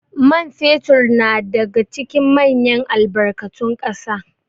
man fetur na daga cikin manyan albkarun kasa